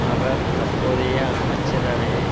அவர் தற்போதைய அமைச்சரவையை